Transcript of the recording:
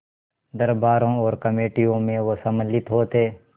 दरबारों और कमेटियों में वे सम्मिलित होते